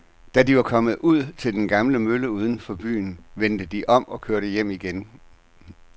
Da de var kommet ud til den gamle mølle uden for byen, vendte de om og kørte hjem igen.